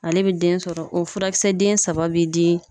Ale be den sɔrɔ . O furakisɛ den saba be di